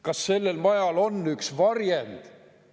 Kas sellel majal on varjend?